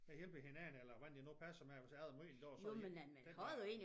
Vi hjælper hinanden eller hvordan det nu passer med hvis jeg har møde en dag den der